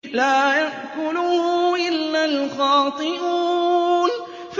لَّا يَأْكُلُهُ إِلَّا الْخَاطِئُونَ